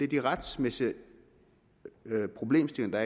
de retssikkerhedsmæssige problemstillinger